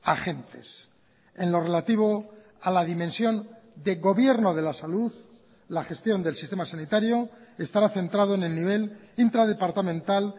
agentes en lo relativo a la dimensión de gobierno de la salud la gestión del sistema sanitario estará centrado en el nivel intradepartamental